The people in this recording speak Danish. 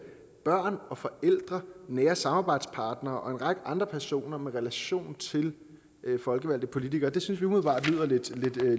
børn og forældre nære samarbejdspartnere og en række andre personer med relation til folkevalgte politikere synes vi umiddelbart lyder lidt